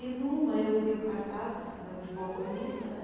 E numa eu vi o cartaz precisando de balconista, né.